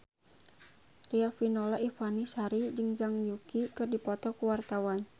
Riafinola Ifani Sari jeung Zhang Yuqi keur dipoto ku wartawan